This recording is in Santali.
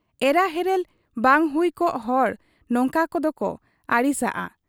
ᱮᱨᱟ ᱦᱮᱨᱮᱞ ᱵᱟᱝ ᱦᱩᱭ ᱠᱚᱜ ᱦᱚᱲ ᱱᱚᱝᱠᱟᱱᱟᱜ ᱫᱚᱠᱚ ᱟᱹᱲᱤᱥᱟᱜ ᱟ ᱾